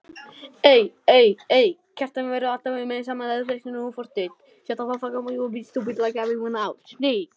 Kjartan verður alltaf með sama þreytandi forritið.